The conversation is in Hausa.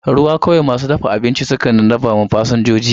Ruwa kawai masu dafa abinci suka rabawa fasinjoji.